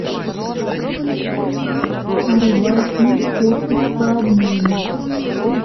врубай фильм отпуск по обмену